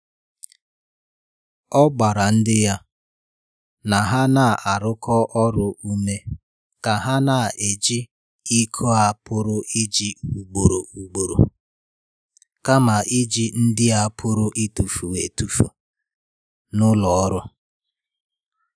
Ọ gbara ndị ya na ha na-arụkọ ọrụ ume ka ha na-eji iko a pụrụ iji ugboro ugboro kama i ji ndị a pụrụ ịtụfu e tufu n’ụlọ ọrụ.